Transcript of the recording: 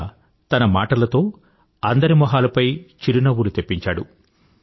పైగా తన మాటలతో అందరి మొహాలపై చిరునవ్వులు తెప్పించాడు